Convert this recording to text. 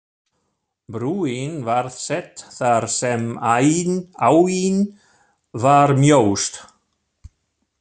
Brúin var sett þar sem áin var mjóst.